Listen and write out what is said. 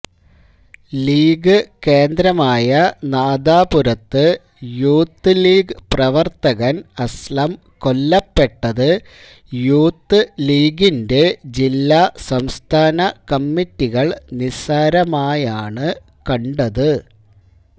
league കേന്ദ്രമായ നാദാപുരത്ത് Youth League പ്രവർത്തകൻ അസ്ലം കൊല്ലപ്പെട്ടത് യൂത്ത് ലീഗിന്റെ ജില്ലാസംസ്ഥാന കമ്മിറ്റികൾ നിസ്സാരമായാണ് കണ്ടത്